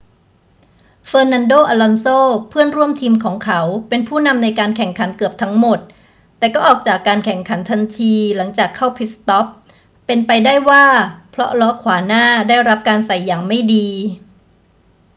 fernando alonso เพื่อนร่วมทีมของเขา เป็นผู้นำในการแข่งขันเกือบทั้งหมด แต่ก็ออกจากการแข่งขันทันทีหลังจากเข้าพิทสต็อป เป็นไปได้ว่าเพราะล้อขวาหน้าได้รับการใส่อย่างไม่ดี